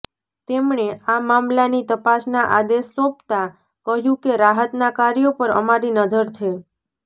તેમણે આ મામલાની તપાસના આદેશ સોંપતા કહ્યું કે રાહતના કાર્યો પર અમારી નજર છે